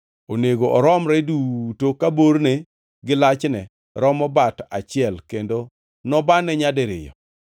Onego oromre duto ka borne gi lachne romo bat achiel kendo nobane nyadiriyo.